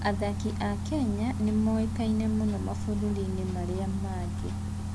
Athaki a Kenya nĩ moĩkaine mũno mabũrũri-inĩ marĩa mangĩ.